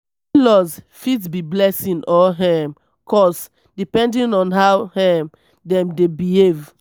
in-laws fit be blessing or um curse depending on how um dem dey behave.